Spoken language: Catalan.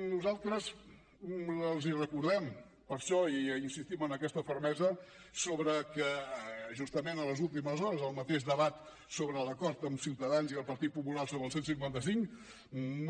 nosaltres els recordem per això insistim en aquesta fermesa sobre que justament a les últimes hores el mateix debat sobre l’acord amb ciutadans i el partit popular sobre el cent i cinquanta cinc